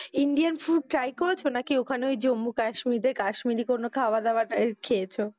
Indian food try করেছো নাকি ওখানে ওই জম্বু কাশ্মীরে কাশ্মীরি কোনো খাওয়া দাওয়া টা খেয়েছো?